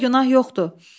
Onda günah yoxdur!